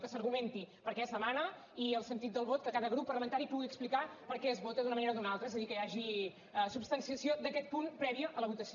que s’argumenti per què es demana i el sentit del vot que cada grup parlamentari pugui explicar per què es vota d’una manera o d’una altra és a dir que hi hagi substanciació d’aquest punt prèvia a la votació